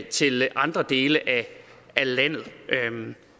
til andre dele af landet